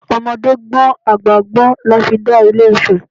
Ọmọdé gbọ́n àgbà gbọ́n la fi dá ilé Ifẹ̀!